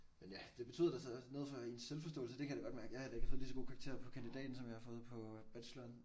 Men ja det betød da så noget for ens selvforståelse det kan jeg da godt mærke jeg har heller ikke fået lige så gode karakterer på kandidaten som jeg har fået på bacheloren